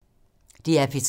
DR P3